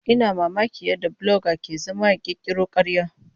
Ina mamakin yadda bloga ke zama ya ƙirƙira ƙarya.